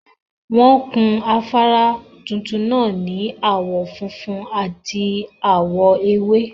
Won kun afara tuntun naa ni awon funfun at awo ewe